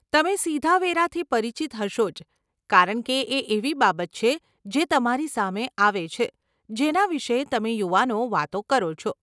તમે સીધા વેરાથી પરિચિત હશો જ કારણકે એ એવી બાબત છે જે તમારી સામે આવે છે, જેના વિષે તમે યુવાનો વાતો કરો છો.